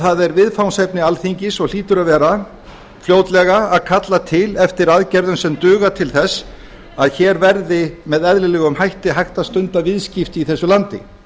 það er viðfangsefni alþingi og hlýtur að vera fljótlega að kalla til eftir aðgerðum sem duga til að hér verði með eðlilegum hætti hægt að stunda viðskipti í þessu landi